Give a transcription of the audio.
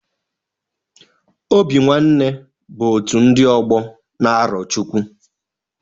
Obi nwanne bụ otu ndị ọgbọ na Arochukwu